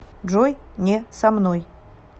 джой не со мной